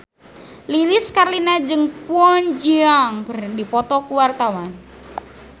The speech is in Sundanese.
Lilis Karlina jeung Kwon Ji Yong keur dipoto ku wartawan